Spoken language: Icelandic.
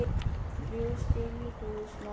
Þrjú stig í hús, Man.